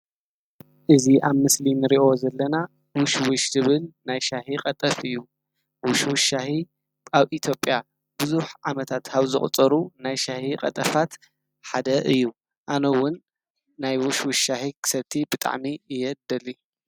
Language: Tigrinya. እዙይ ኣብ ምስሊ እንርእዮ ዘለና ውሽውሽ ዝብል ናይ ሻሂ ቀጠፍ እዩ። ውሽውሽ ሻሂ ኣብ ኢትዮጵያ ብዙሕ ዓመታት ካብ ዘቑፀሩ ናይ ሻሂ ቀጠፋት ሓደ እዩ። ኣነ እውን ናይ ውሽውሽ ሻሂ ክሰቲ ብጣዕሚ እየ ዝደሊ።